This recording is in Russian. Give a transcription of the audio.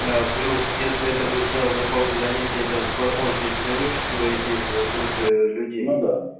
плюс если это будет зал групповых занятий это возможно и динамические воздействия от группы людей ну да